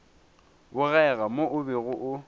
bogega mo o bego o